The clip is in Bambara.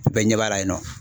Bɛɛ ɲɛ b'a la yen nɔ.